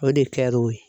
O de kɛ l'o ye